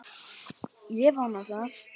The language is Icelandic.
Ég vona það!